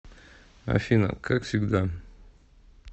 афина как всегда